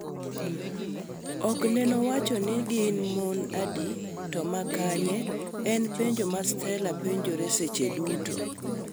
okneno wacho ni gin mon adi to makanye, en penjo ma Stella penjore seche duto.